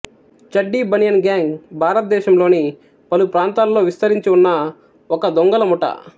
Chaddi Banian gang భారతదేశంలోని పలుప్రాంతాల్లో విస్తరించి ఉన్న ఒక దొంగల ముఠా